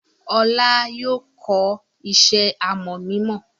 Olú yóò kọ́ iṣẹ́ àmọ̀ mímọ!